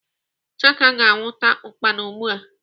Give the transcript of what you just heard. Chaka ga-anwụta ukpana ugbu a.